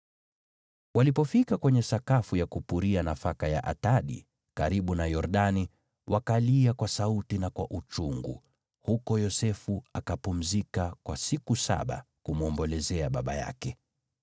Walipofika kwenye sakafu ya kupuria nafaka ya Atadi, karibu na Yordani, wakalia kwa sauti na kwa uchungu; Yosefu akapumzika huko kwa siku saba kumwombolezea baba yake.